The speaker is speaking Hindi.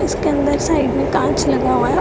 इसके अंदर साइड में कांच लगा हुआ है।